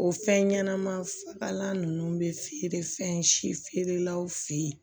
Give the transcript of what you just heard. O fɛn ɲɛnɛma fagalan ninnu bɛ feere fɛn si feerelaw fɛ yen